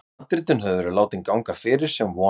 Handritin höfðu verið látin ganga fyrir, sem von var.